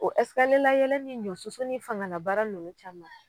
O ɛsikaliye layɛlɛ ni ɲɔ susu ni fanga na baara nunnu caman